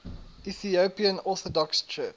ethiopian orthodox church